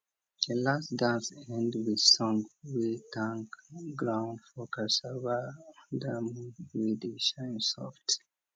the last dance end with song wey thank ground for cassava under moon wey dey shine soft